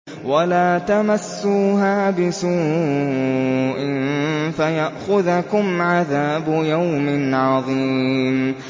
وَلَا تَمَسُّوهَا بِسُوءٍ فَيَأْخُذَكُمْ عَذَابُ يَوْمٍ عَظِيمٍ